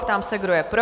Pám se, kdo je pro?